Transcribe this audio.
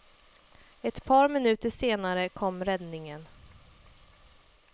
Ett par minuter senare kom räddningen.